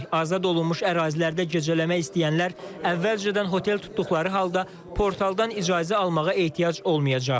Azad olunmuş ərazilərdə gecələmək istəyənlər əvvəlcədən hotel tutduqları halda portaldan icazə almağa ehtiyac olmayacaq.